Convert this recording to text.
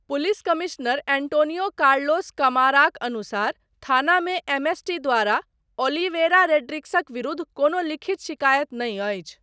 Police commissioner Antonio Carlos कमाराक अनुसार थानामे एमएसटी द्वारा ओलिवेरा रोड्रिग्सक विरुद्ध कोनो लिखित शिकायत नहि अछि।